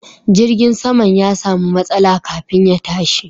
Jirgin saman ya samu matsala kafin ya tashi.